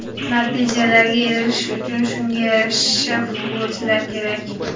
Natijalarga erishish uchun shunga yarasha futbolchilar kerak.